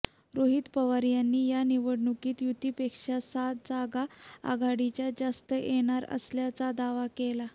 रोहित पवार यांनी या निवडणुकीत युतीपेक्षा सात जागा आघाडीच्या जास्त येणार असल्याचा दावा केला